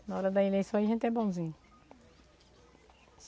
Na hora da eleição a gente é bonzinho.